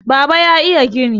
baba ya iya gini!